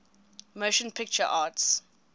motion picture arts